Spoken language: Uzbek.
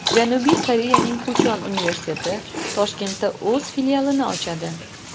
Janubiy Koreyaning Puchon universiteti Toshkentda o‘z filialini ochadi.